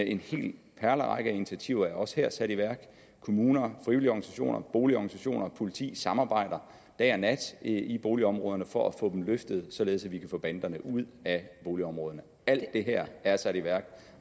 en hel perlerække af initiativer er også her sat i værk kommuner frivillige organisationer boligorganisationer og politi samarbejder dag og nat i boligområderne for at få dem løftet således at vi kan få banderne ud af boligområderne alt det her er sat i værk